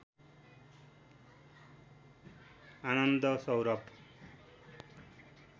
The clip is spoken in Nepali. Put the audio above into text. आनन्द सौरभ